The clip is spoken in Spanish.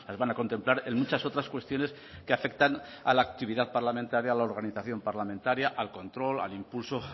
van a contemplar en muchas otras cuestiones que afectan a la actividad parlamentaria a la organización parlamentaria al control al impulso